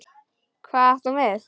Hvað átti hún við?